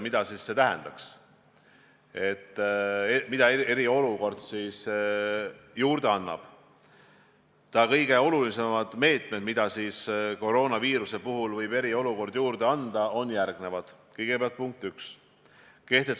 Mitmed riigid on andnud teadlaste abil hinnanguid, kui kiiresti viirus levib, millised on nende riikide prognoositavad numbrid, milline on vajadus näiteks hingamisaparaatide järele, mida raskematel juhtudel on tarvis kasutada.